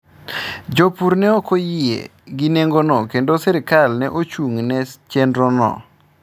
Jopur ne ok oyie gi nengono kendo sirkal ne ochung’ ne chenrono.